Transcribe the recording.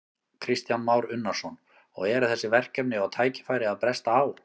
Kristján Már Unnarsson: Og eru þessi verkefni og tækifæri að bresta á?